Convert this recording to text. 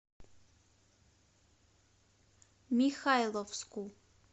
михайловску